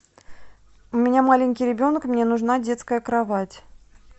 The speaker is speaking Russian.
у меня маленький ребенок мне нужна детская кровать